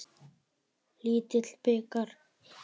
Lítill bikar.